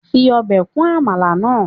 Fi obe kun amala naa